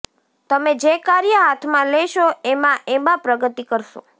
તમે જે કાર્ય હાથમાં લેશો એમાં એમાં પ્રગતિ કરશો